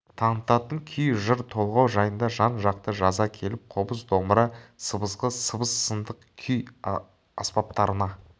танытатын күй жыр толғау жайында жан-жақты жаза келіп қобыз домбыра сыбызғы сыбыс сынды күй аспаптарына